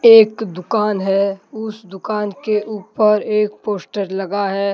एक दुकान है उस दुकान के ऊपर एक पोस्टर लगा है।